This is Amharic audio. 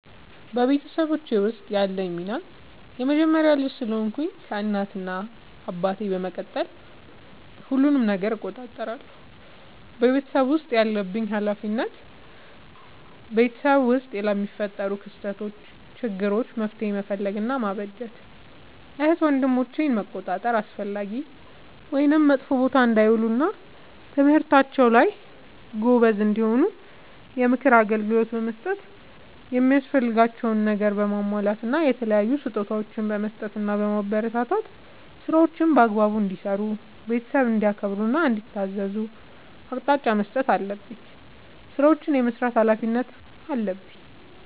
በቤተሰቦቼ ውስጥ ያለኝ ሚና የመጀመሪያ ልጅ ስለሆንኩ ከእናት እና አባቴ በመቀጠል ሁሉንም ነገር እቆጣጠራለሁ። በቤተሰቤ ውስጥ ያለብኝ ኃላፊነት በቤተሰብ ውስጥ ለሚፈጠሩ ክስተቶች ÷ችግሮች መፍትሄ መፈለግ እና ማበጀት ÷ እህት ወንድሞቼን መቆጣጠር አላስፈላጊ ወይም መጥፎ ቦታ እንዳይውሉ እና በትምህርታቸው ጎበዝ እንዲሆኑ የምክር አገልግሎት በመስጠት የሚያስፈልጋቸውን ነገር በማሟላት እና የተለያዩ ስጦታዎችን በመስጠትና በማበረታታት ÷ ስራዎችን በአግባቡ እንዲሰሩ ÷ ቤተሰብን እንዲያከብሩ እና እንዲታዘዙ አቅጣጫ መስጠት አለብኝ። ስራዎችን የመስራት ኃላፊነት አለብኝ።